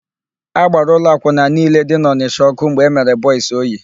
A gbara ụlọ akwụna niile dị n'Ọnịsha ọ́kụ́ mgbe emere Bọis Oye.